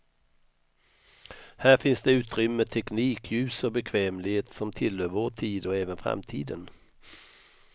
Här finns det utrymme, teknik, ljus och bekvämlighet som tillhör vår tid och även framtiden.